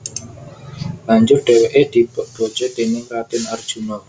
Banjur dheweke dipek bojo déning Raden Arjuna